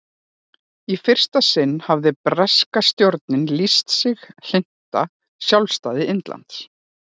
í fyrsta sinn hafði breska stjórnin lýst sig hlynnta sjálfstæði indlands